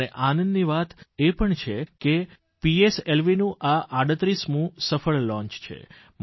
અને આનંદની વાત પણ છે કે પીએસએલવીનું આ 38મું સફળ લોંચ છે